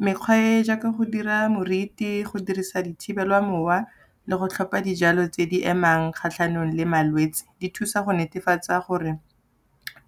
mekgwa e e jaaka go dira meriti, go dirisa dithibela mowa le go tlhopha dijalo tse di emang kgatlhanong le malwetse, di thusa go netefatsa gore